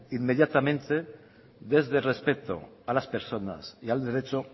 inmediatamente desde el respeto a las personas y al derecho